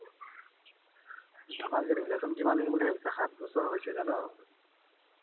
আমাৰ যে relation কিমান দিন সাতবছৰ হৈছে জান